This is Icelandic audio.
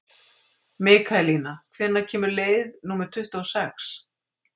Mikaelína, hvenær kemur leið númer tuttugu og sex?